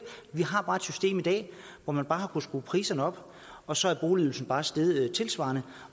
vi har bare et system i dag hvor man har kunnet skrue priserne op og så er boligydelsen bare steget tilsvarende